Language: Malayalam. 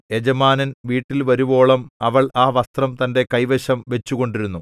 യജമാനൻ വീട്ടിൽ വരുവോളം അവൾ ആ വസ്ത്രം തന്റെ കൈവശം വച്ചുകൊണ്ടിരുന്നു